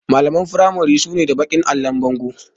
Makarantun firamari su na da baƙin allon bango